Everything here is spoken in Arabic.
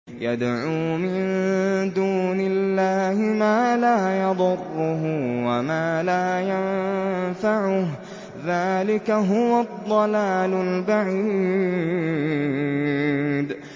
يَدْعُو مِن دُونِ اللَّهِ مَا لَا يَضُرُّهُ وَمَا لَا يَنفَعُهُ ۚ ذَٰلِكَ هُوَ الضَّلَالُ الْبَعِيدُ